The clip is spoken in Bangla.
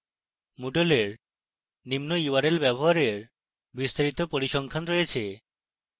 moodle এর নিম্ন url ব্যবহারের বিস্তারিত পরিসংখ্যান রয়েছে